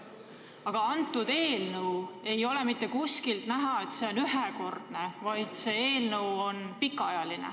Aga eelnõus ei ole mitte kuskil kirjas, et see on ühekordne toetus.